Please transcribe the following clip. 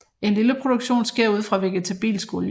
En lille produktion sker ud fra vegetabilsk olie